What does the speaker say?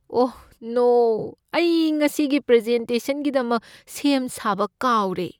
ꯑꯣꯍ no! ꯑꯩ ꯉꯁꯤꯒꯤ ꯄ꯭ꯔꯖꯦꯟꯇꯦꯁꯟꯒꯤꯗꯃꯛ ꯁꯦꯝ ꯁꯥꯕ ꯀꯥꯎꯔꯦ꯫